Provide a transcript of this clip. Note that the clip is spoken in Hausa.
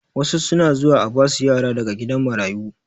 Wasu suna zuwa a basu yara daga gidan marayu